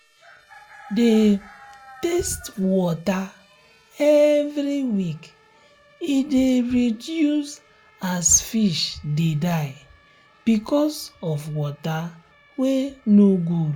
de um test water um every week e de um reduce as fish de die because of water wen no good